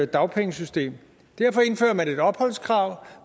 dagpengesystem derfor indfører man et opholdskrav